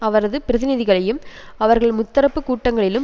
அவரது பிரதிநிதிகளையும் அவர்கள் முத்தரப்பு கூட்டங்களிலும்